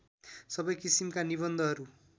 सबै किसिमका निबन्धहरू